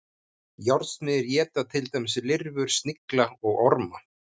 Járnsmiðir éta til dæmis lirfur, snigla og orma.